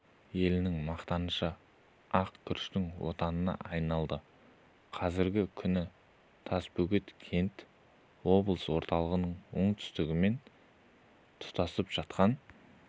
елінің мақтанышы ақ күріштің отанына айналды қазіргі күні тасбөгет кент облыс орталығының оңтүстігімен тұтасып жатқан